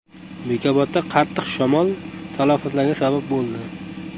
Bekobodda qattiq shamol talafotlarga sabab bo‘ldi.